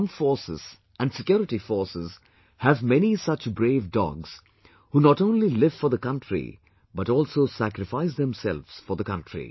Our armed forces and security forces have many such brave dogs who not only live for the country but also sacrifice themselves for the country